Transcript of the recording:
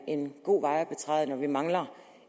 en god vej at betræde når vi mangler